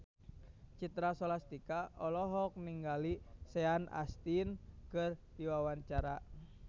Citra Scholastika olohok ningali Sean Astin keur diwawancara